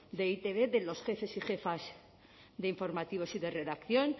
de e i te be de los jefes y jefas de informativos y de redacción